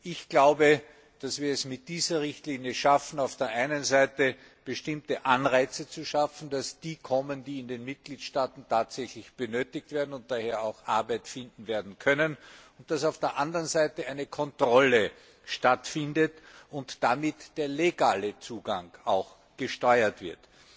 Ich glaube, dass wir es mit dieser Richtlinie schaffen, auf der einen Seite bestimmte Anreize zu schaffen, dass diejenigen kommen, die in den Mitgliedstaaten tatsächlich benötigt werden und daher auch Arbeit werden finden können, und dass auf der anderen Seite eine Kontrolle stattfindet und damit auch der legale Zugang gesteuert wird.